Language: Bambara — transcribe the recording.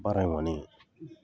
Baara in kɔni